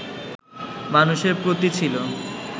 মানুষের প্রতি ছিল